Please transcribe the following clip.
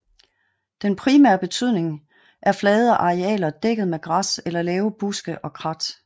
Den primære betydning er flade arealer dækket med græs eller lave buske og krat